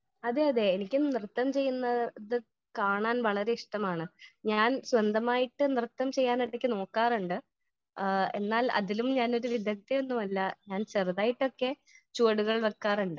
Speaker 1 അതേ അതേ എനിക്കു നൃത്തം ചെയ്യുന്നത് കാണാൻ വളരെ ഇഷ്ടമാണ് . ഞാൻ സ്വന്തമായിട്ട് നൃത്തം ചെയ്യാൻ ഇടയ്ക്ക് നോക്കാറുണ്ട് . ആ എന്നാൽ അതിലും ഞാൻ ഒരു വിദഗ്ധയൊന്നുമല്ല . ചേറുതായിട്ടൊക്കെ ചുവടുകൾ വെക്കാറുണ്ട് .